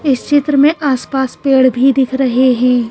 इस चित्र में आसपास पेड़ भी दिख रहे हैं।